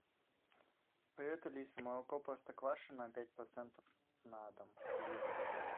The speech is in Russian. привет алиса молоко простоквашино пять процентов на дом литр